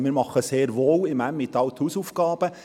Wir machen im Emmental also sehr wohl unsere Hausaufgaben.